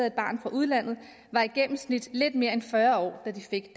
et barn fra udlandet var i gennemsnit lidt mere end fyrre år da de fik